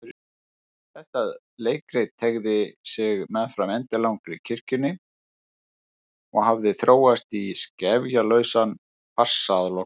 Þetta leikrit teygði sig meðfram endilangri kirkjunni og hafði þróast í skefjalausan farsa að lokum.